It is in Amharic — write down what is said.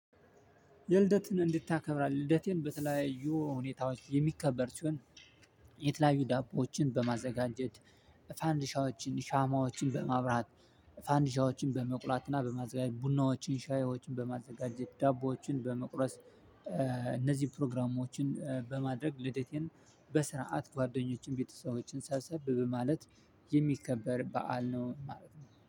የልደትን እንዴት ታከብራለህ? ልደቴን በተለያዩ ሁኔታዎች የሚከበር ሲሆን። የተለያዩ ዳቦዎችን በማዘጋጀት። ፋንዲሻዎችን ሻማዎችን በማብራት። ፋንዲሻዎችን በመቁላትና በማዘጋጀት ቡናዎችን ሻዮችን በማዘጋጀት ዳቦዎችን በመቁረስ። እነዚህ ፕሮግራሞችን በማድረግ ልዴቴን በስርዓት ጓደኞችን ቤተሰቦችን ሰብሰብ በማለት የሚከበር በዓል ነው ማለት ነው